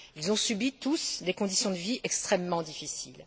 Ils ont subi, tous, des conditions de vie extrêmement difficiles.